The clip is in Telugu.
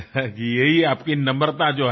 నా వల్ల జరిగినదేమీ లేదు